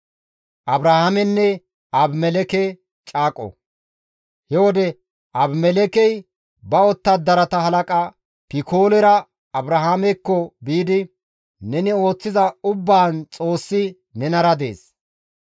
He wode Abimelekkey ba wottadarata halaqa Pikoolera Abrahaamekko biidi, «Neni ooththiza ubbaan Xoossi nenara dees.